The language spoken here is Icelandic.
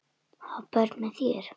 Ha, börn með þér?